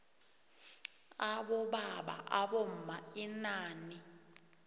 abobaba abomma inani